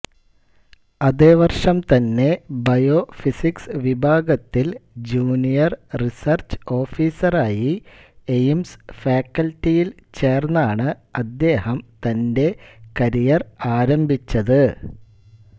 അതേ വർഷം തന്നെ ബയോഫിസിക്സ് വിഭാഗത്തിൽ ജൂനിയർ റിസർച്ച് ഓഫീസറായി എയിംസ് ഫാക്കൽറ്റിയിൽ ചേർന്നാണ് അദ്ദേഹം തന്റെ കരിയർ ആരംഭിച്ചത്